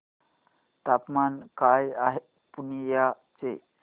तापमान काय आहे पूर्णिया चे